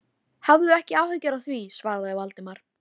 Hafðu ekki áhyggjur af því- svaraði Valdimar.